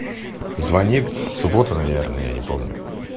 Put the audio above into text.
звонит в субботу наверное я не помню